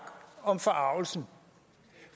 om forargelsen